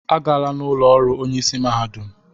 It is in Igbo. Agala n'ụlọ ọrụ onyeisi mahadum!